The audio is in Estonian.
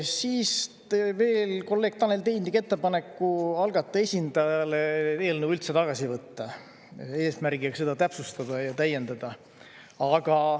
Siis veel kolleeg Tanel Tein tegi ettepaneku algataja esindajale eelnõu üldse tagasi võtta eesmärgiga seda täpsustada ja täiendada.